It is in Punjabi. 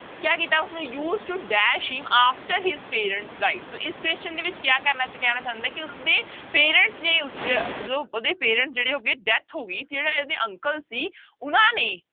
ਕਿਆ ਕੀਤਾ ਉਸਨੇ use to dash him after his parents die ਤੋ ਇਸ question ਦੇ ਵਿੱਚ ਕਿਆ ਕਰਨਾ ਤੇ ਕਹਿਣਾ ਚਾਹੁੰਦਾ ਹੈ ਕਿ ਉਸਦੇ parents ਨੇ ਉਸਦੇ ਜੋ ਉਹਦੇ parent ਜਿਹੜੇ ਹੋ ਗਏ death ਹੋ ਗਈ ਜਿਹੜਾ ਇਹਦੇ uncle ਸੀ ਉਹਨਾਂ ਨੇ